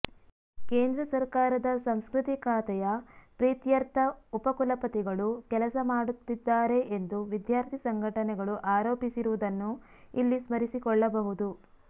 ಕೇಂದ್ರ ಸರಕಾರದ ಸಂಸ್ಕೃತಿ ಖಾತೆಯ ಪ್ರೀತ್ಯರ್ಥ ಉಪಕುಲಪತಿಗಳು ಕೆಲಸ ಮಾಡುತ್ತಿದ್ದಾರೆ ಎಂದು ವಿದ್ಯಾರ್ಥಿ ಸಂಘಟನೆಗಳು ಆರೋಪಿಸಿರುವುದನ್ನು ಇಲ್ಲಿ ಸ್ಮರಿಸಿಕೊಳ್ಳಬಹುದು